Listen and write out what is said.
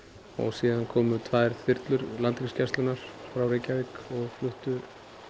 síðan komu tvær þyrlur Landhelgisgæslunnar og fluttu